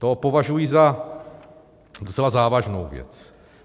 To považuji za docela závažnou věc.